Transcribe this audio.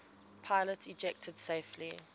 pilots ejected safely